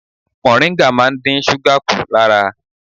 Mọ̀ríngà máa ń dín súgà kù lára.